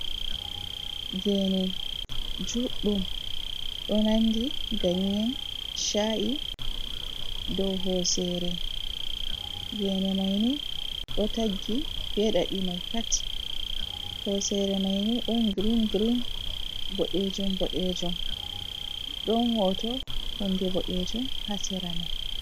Geni juɗɗum do nandi ganyen cha’i dow hosere gene maini do taggi be ɗaɗi mai pat hosere maini don green green boddejum bodejum don hoto hunde bodejum hasera mai.